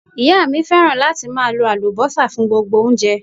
Ìyá mi fẹ́ràn láti máa lo Àlùbọ́sà fún gbogbo oúnjẹ.